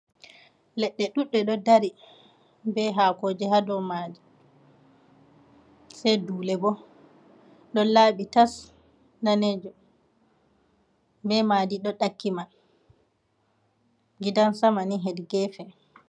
Leɗɗe ɗuuɗɗe ɗo ɗari be hakoji ha ɗow maiji. Sai nɗule bo ɗo labi tas nɗanejum. Be maɗi ɗo ɗakki mai. gidan sama ni heɗi gefe.